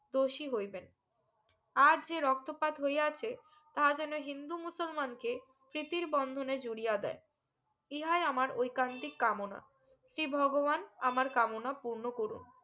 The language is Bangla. দোষী হইবেন আজ যে রক্ত পাত হইয়াছে তা যেনো হিন্দু মুসলমানকে সৃতির বন্ধনে জরিয়া দেয় ইহাই আমার ঐকান্তিক কামনা শ্রী ভগবান আমার কামনা পূর্ণ করুক